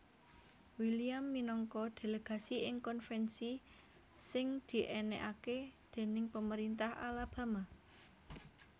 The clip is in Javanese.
William minangka delegasi ing konvensi sing diènèkaké déning pemerintah Alabama